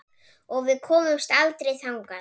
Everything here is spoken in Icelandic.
Og við komumst aldrei þangað.